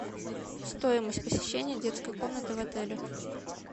стоимость посещения детской комнаты в отеле